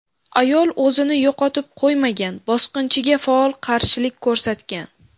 Ayol o‘zini yo‘qotib qo‘ymagan, bosqinchiga faol qarshilik ko‘rsatgan.